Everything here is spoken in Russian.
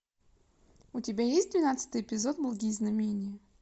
у тебя есть двенадцатый эпизод благие знамения